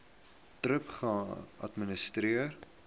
thrip geadministreer